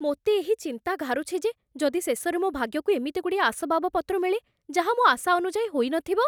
ମୋତେ ଏହି ଚିନ୍ତା ଘାରୁଛି ଯେ ଯଦି ଶେଷରେ ମୋ ଭାଗ୍ୟକୁ ଏମିତି ଗୁଡ଼ିଏ ଆସବାବପତ୍ର ମିଳେ, ଯାହା ମୋ ଆଶା ଅନୁଯାୟୀ ହୋଇନଥିବ!